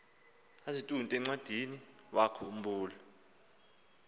azitunde encwadiniwakhu mbula